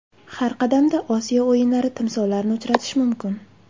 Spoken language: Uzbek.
Har qadamda Osiyo o‘yinlari timsollarini uchratish mumkin.